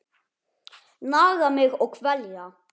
Naga mig og kvelja.